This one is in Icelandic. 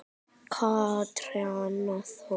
Kjartan Thors.